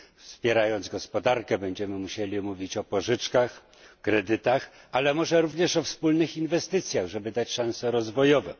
Wspierając gospodarkę, będziemy musieli mówić o pożyczkach, kredytach, ale może również o wspólnych inwestycjach, żeby dać szanse rozwojowe.